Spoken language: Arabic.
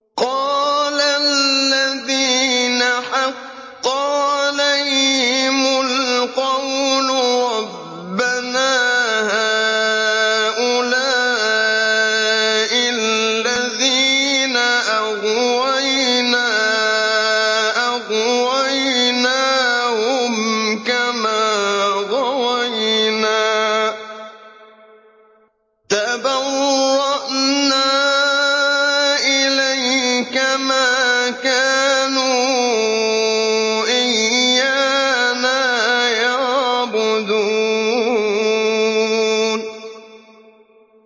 قَالَ الَّذِينَ حَقَّ عَلَيْهِمُ الْقَوْلُ رَبَّنَا هَٰؤُلَاءِ الَّذِينَ أَغْوَيْنَا أَغْوَيْنَاهُمْ كَمَا غَوَيْنَا ۖ تَبَرَّأْنَا إِلَيْكَ ۖ مَا كَانُوا إِيَّانَا يَعْبُدُونَ